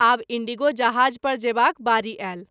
आब इण्डिगो जहाज़ पर जेबाक बारी आयल।